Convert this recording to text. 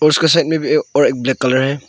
उसके साइड में भी और एक ब्लैक कलर है।